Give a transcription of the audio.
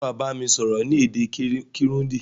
Sé wàá bámi sọ́rọ́ ni èdè Kirundi